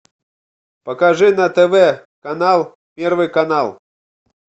покажи на тв канал первый канал